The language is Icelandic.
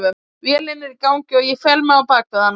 Vélin er í gangi og ég fel mig á bakvið hann.